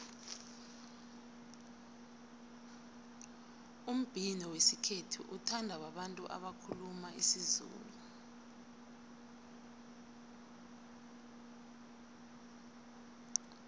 umbhino wesikhethu uthandwa babantu abakhuluma isizulu